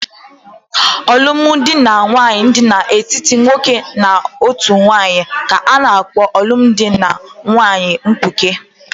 Alụmdi na nwunye dị n'etiti otu nwoke na otu nwanyị ka-ana kpo alụmdi na nwunye mkpuke